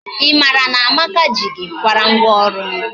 I mara na Amaka ji gị kwara ngwọ ọrụ?